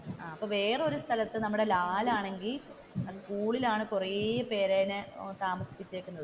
അപ്പൊ വേറൊരു സ്ഥലത്തു നമ്മുടെ ലാൽ ആണെങ്കിൽ സ്കൂളിലാണ് കുറെ പേര് താമസിപ്പിച്ചേക്കുന്നത്.